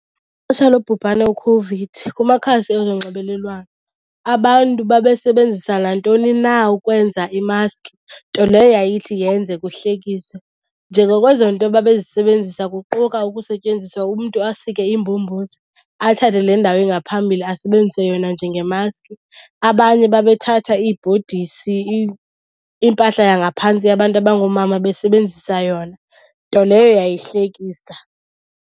lobhubhane iCOVID kumakhasi onxibelelwano abantu babesebenzisa nantoni na ukwenza imaski, nto leyo yayithi yenze kuhlekise. Njengokweezonto babezisebenzisa kuquka ukusetyenziswa umntu asike imbombozi athathe le ndawo ingaphambili asebenzise yona njengemaski. Abanye babethatha iibhodisi, impahla yangaphantsi yabantu abangoomama besebenzisa yona, nto leyo yayihlekisa.